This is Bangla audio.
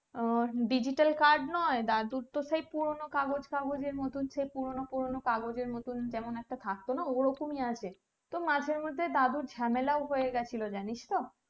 আহ digital card নয় দাদুর তো সেই পুরোনো কাগজ কাগজ আর মতো সেই পুরোনো পুরোনো কাগজ আর মতো কেমন একটা থাকতোনা ওরকমই আছে তো মাঝে মধ্যে দাদুর ঝামেলাও হয়ে গেছিলো জানিস তো